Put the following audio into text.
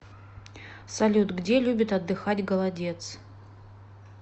салют где любит отдыхать голодец